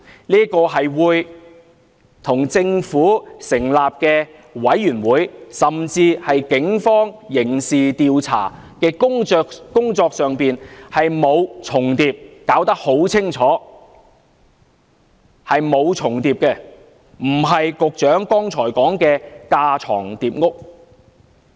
這並不會與政府成立的調查委員會，甚至警方刑事調查的工作重疊，很清楚並無重疊，不是局長剛才所說的架床疊屋。